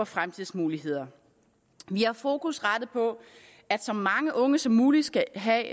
fremtidsmuligheder vi har fokus rettet på at så mange unge som muligt skal have